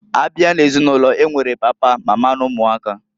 Abịa n'ezinulo, e nwere papa, mama n'ụmụaka.